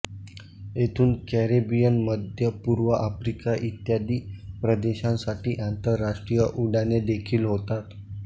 येथून कॅरिबियन मध्य पूर्व आफ्रिका इत्यादी प्रदेशांसाठी आंतरराष्ट्रीय उड्डाणे देखील होतात